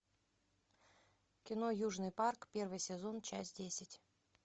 кино южный парк первый сезон часть десять